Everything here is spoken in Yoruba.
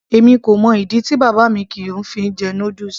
èmi kò mọ ìdí tí bàbá mi kìí fi jẹ noodles